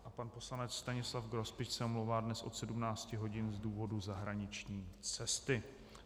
A pan poslanec Stanislav Grospič se omlouvá dnes od 17 hodin z důvodu zahraniční cesty.